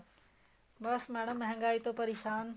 ਬੱਸ madam ਮਹਿੰਗਾਈ ਤੋ ਪਰੇਸ਼ਾਨ